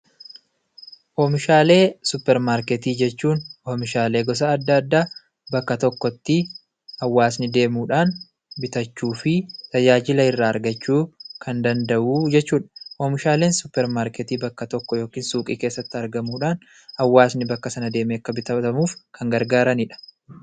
Oomishalee suuparmarketii jechuun oomishalee gosa adda addaa bakka tokkotti hawaasni deemuudhaan bitachuufi tajaajila irraa argachuu kan danda'uu jechuudha. Oomishaleen suupermarketii bakka tokko yookiin suuqii keessatti argamuudha hawaasni bakka sana deeme akka bitatuuf kan gargaaraniidha.